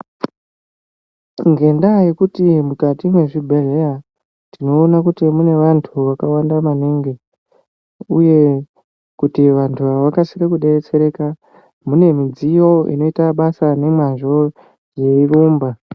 Ngenda yekuti mukati mezvibhedhlera tinoona kuti mune vantu vakawanda maningi uye kuti vantu ava vakasike kubetsereka kune midziyo inoita basa nemazvo yeirumba .